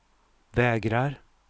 vägrar